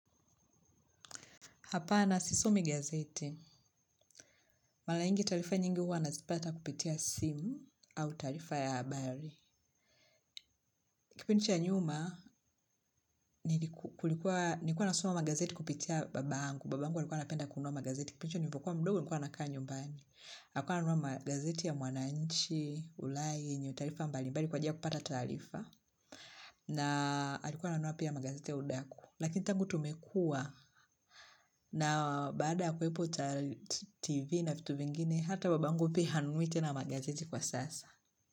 Apana sisomi gazeti. Mara nyingi taarifa nyingi huwa nazipata kupitia simu au taarifa ya habari. Kipindi cha nyuma, nilikuwa nasoma magazeti kupitia babangu. Babangu alikuwa anapenda kunua magazeti. Kipindo hicho nilikuwa mdogo nilikuwa nakaa nyumbani. Alikuwa ananunua magazeti ya mwananchi, ulai, yenye taarifa mbali. Mbali kwa njia kupata taarifa. Na alikuwa ananunua pia magazeti ya udaku. Lakini tangu tumekua. Na baada ya kuwepo TV na vitu vingine hata babangu pia hanunui magazeti kwa sasa.